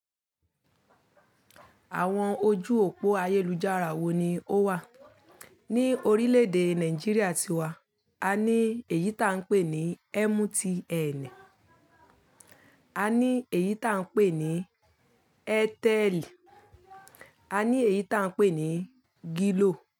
Àwọn ojú òpó ayélujára wo ni ó wà? Ni orílè èdè Nàìjíríà tiwa, a ní èyí ta n pe ni MTN, a ní èyí ta n pe ni Airtel, a ní èyí ta n pe ni Glo.